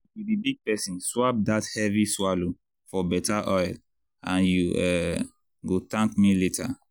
if you be big person swap that heavy swallow for better oil and you um go thank me later.